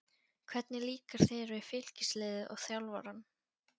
Hvernig líkar þér við Fylkisliðið og þjálfarann?